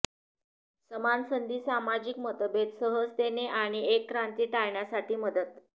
समान संधी सामाजिक मतभेद सहजतेने आणि एक क्रांती टाळण्यासाठी मदत